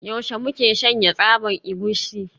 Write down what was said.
Yaushe muke shanya tsaban egusi?